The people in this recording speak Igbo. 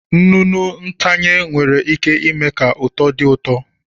Nnụnụ ntanye nwere ike ime ka uto dị ụtọ.